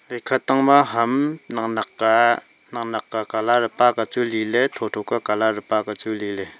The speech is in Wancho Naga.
ekha tangma ham naknak ka colour e paka chu liley thotho ka colour e paka chu liley.